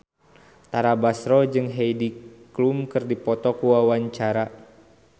Tara Basro jeung Heidi Klum keur dipoto ku wartawan